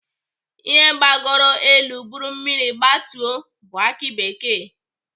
Ihe gbagoro elu buru mmiri gbatuo bụ aki bekee.